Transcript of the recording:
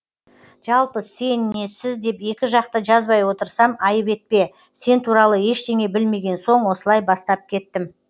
жалпы сен не сіз деп екі жақты жазбай отырсам айып етпе сен туралы ештеңе білмеген соң осылай бастап кеттім